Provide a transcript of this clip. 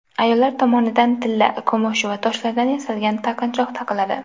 Ayollar tomonidan tilla, kumush va toshlardan yasalgan taqinchoq taqiladi.